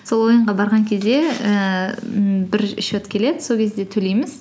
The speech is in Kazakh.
сол ойынға барған кезде ііі ммм бір счет келеді сол кезде төлейміз